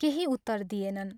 केही उत्तर दिएनन्।